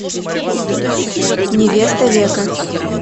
невеста века